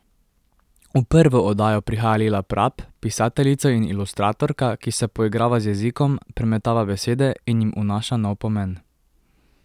V prvo oddajo prihaja Lila Prap, pisateljica in ilustratorka, ki se poigrava z jezikom, premetava besede in jim vnaša nov pomen.